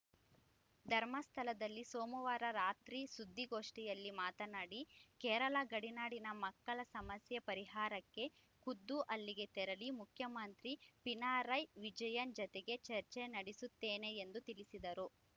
ಧರ್ಮಸ್ಥಳದಲ್ಲಿ ಸೋಮವಾರ ರಾತ್ರಿ ಸುದ್ದಿಗೋಷ್ಠಿಯಲ್ಲಿ ಮಾತನಾಡಿ ಕೇರಳ ಗಡಿನಾಡಿನ ಮಕ್ಕಳ ಸಮಸ್ಯೆ ಪರಿಹಾರಕ್ಕೆ ಖುದ್ದು ಅಲ್ಲಿಗೆ ತೆರಳಿ ಮುಖ್ಯಮಂತ್ರಿ ಪಿಣರಾಯ್‌ ವಿಜಯನ್‌ ಜತೆಗೆ ಚರ್ಚೆ ನಡೆಸುತ್ತೇನೆ ಎಂದು ತಿಳಿಸಿದರು